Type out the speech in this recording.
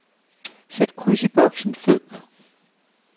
Sæt kryds i boksen fed.